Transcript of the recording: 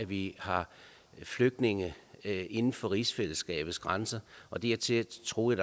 vi har flygtninge inden for rigsfællesskabets grænser og dertil troede